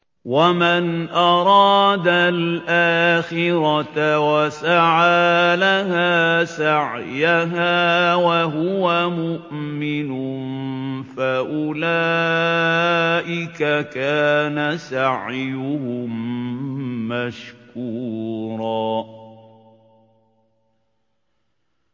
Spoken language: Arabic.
وَمَنْ أَرَادَ الْآخِرَةَ وَسَعَىٰ لَهَا سَعْيَهَا وَهُوَ مُؤْمِنٌ فَأُولَٰئِكَ كَانَ سَعْيُهُم مَّشْكُورًا